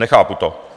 Nechápu to.